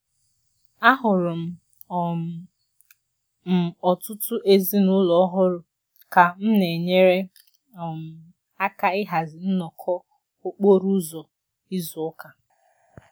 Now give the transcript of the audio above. Ahụrụ um m ọtụtụ ezinụlọ ọhụrụ ka m na-enyere um aka ịhazi nnọkọ okporo ụzọ izu ụka